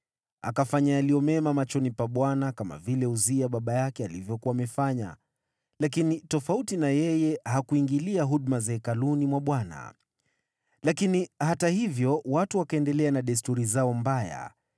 Akafanya yaliyo mema machoni pa Bwana kama Uzia baba yake alivyokuwa amefanya, lakini tofauti na yeye, hakuingilia huduma za hekaluni mwa Bwana . Lakini hata hivyo, watu wakaendelea na desturi zao mbaya.